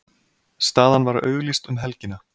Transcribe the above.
Staðan var auglýst um helgina.